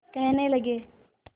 कहने लगे